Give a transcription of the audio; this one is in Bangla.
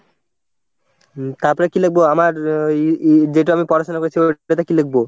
হম তারপরে কি লিখবো? আমার ই ই যেটাই আমি পড়াশোনা করছি, ওটাতে কি লিখব?